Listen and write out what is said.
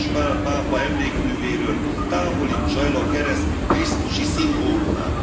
János Pál pápa emlékművéről távolítsa el a kereszt krisztusi szimbólumát.